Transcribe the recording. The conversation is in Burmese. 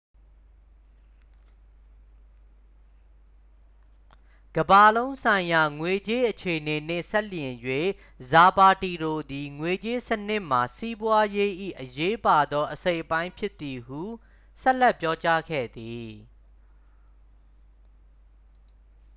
"ကမ္ဘာလုံးဆိုင်ရာ ငွေကြေးအခြေအနေနှင့် စပ်လျဉ်း၍ ဇာပါတီရိုသည် "ငွေကြေးစနစ်မှာ စီးပွားရေး၏ အရေးပါသော အစိတ်အပိုင်းဖြစ်သည်" ဟု ဆက်လက်ပြောကြားခဲ့သည်။